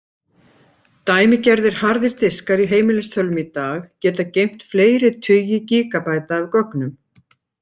Dæmigerðir harðir diskar í heimilistölvum í dag geta geymt fleiri tugi gígabæta af gögnum.